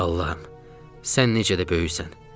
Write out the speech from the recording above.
Allahım, sən necə də böyüksən.